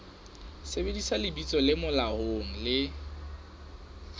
sebedisa lebitso le molaong le